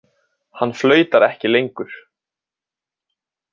Hann flautar ekki lengur.